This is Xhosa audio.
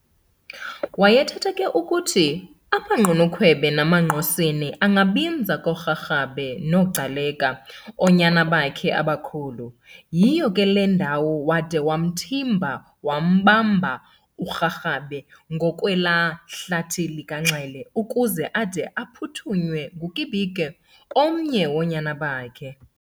Wayethetha ke ukuthi amaGqunukhwebe namaNgqosini angabinza kooRharhabe noGcaleka, oonyana bakhe abakhulu. Yiyo ke le ndawo wade wamthimba wambamba uRharhabe ngakwelaa hlathi likaNxele, ukuze ade aphuthunywe nguKibiko omnye woonyana bakhe.